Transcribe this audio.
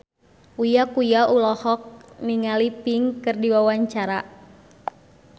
Uya Kuya olohok ningali Pink keur diwawancara